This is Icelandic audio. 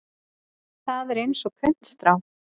Það er eins og puntstrá.